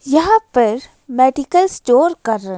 यहाँ पर medical store का--